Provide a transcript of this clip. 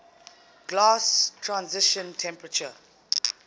glass transition temperature